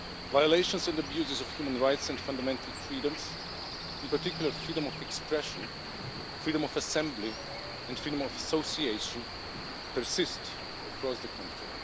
Violations and abuses of human rights and fundamental freedoms, in particular freedom of expression, freedom of assembly and freedom of association, persist across the country.